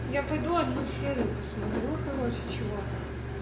я пойду одну серию посмотрю короче чего-то